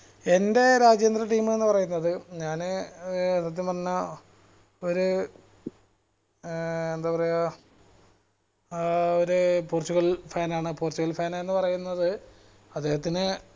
എന്റെ രാജ്യാന്തര team എന്ന് പറയുന്നത് ഞാന് ഏർ സത്യം പറഞ്ഞ ഒരു ഏർ എന്തപറയ ഏർ ഒരു പോർച്ചുഗൽ fan ആണ് പോർച്ചുഗൽ fan എന്ന് പറയുന്നത് അദ്ദേഹത്തിന്